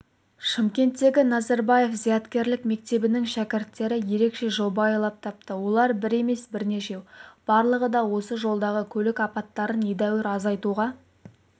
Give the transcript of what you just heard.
шымкенттегі назарбаев зияткерлік мектебінің шәкірттері ерекше жоба ойлап тапты олар бір емес бірнешеу барлығы да осы жолдағы көлік апаттарын едеуір азайтуға